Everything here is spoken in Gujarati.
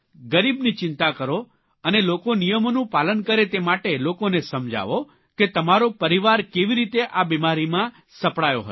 ગરીબની ચિંતા કરો અને લોકો નિયમોનું પાલન કરે તે માટે લોકોને સમજાવો કે તમારો પરિવાર કેવી રીતે આ બિમારીમાં સપડાયો હતો